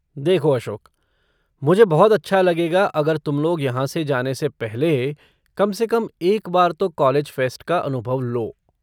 देखो अशोक, मुझे बहुत अच्छा लगेगा अगर तुम लोग यहाँ से जाने से पहले कम से कम एक बार तो कॉलेज फ़ेस्ट का अनुभव लो।